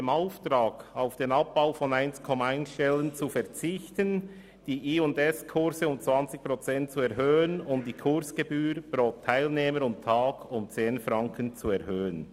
Der Antrag will den Abbau um 1,1 Stellen reduzieren, die Anzahl der Jugend- und Sport-Kurse (J+SKurse) um 20 Prozent und die Kursgebühr pro Teilnehmer und Tag um 10 Franken zu erhöhen.